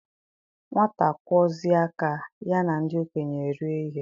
Nwata kwọzie aka, ya na ndị okenye erie ihe